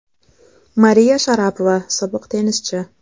Mariya Sharapova, sobiq tennischi.